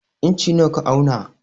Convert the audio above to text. Inci nawa ka auna?